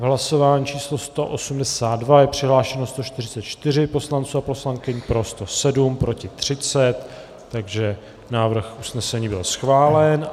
V hlasování číslo 182 je přihlášeno 144 poslanců a poslankyň, pro 107, proti 30, takže návrh usnesení byl schválen.